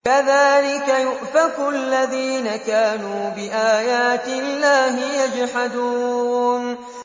كَذَٰلِكَ يُؤْفَكُ الَّذِينَ كَانُوا بِآيَاتِ اللَّهِ يَجْحَدُونَ